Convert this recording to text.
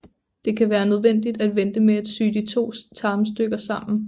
Det kan være nødvendigt at vente med at sy de to tarmstykker sammen